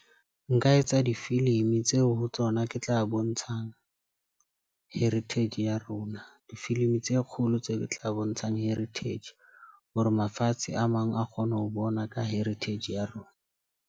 Nka etsa difilimi tseo ho tsona ke tla bontshang Heritage ya rona. Difilimi tse kgolo tse ke tla bontshang Heritage. Hore mafatshe a mang a kgone ho bona ka heritage ya rona.